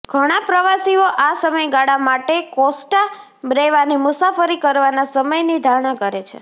ઘણા પ્રવાસીઓ આ સમયગાળા માટે કોસ્ટા બ્રેવાની મુસાફરી કરવાના સમયની ધારણા કરે છે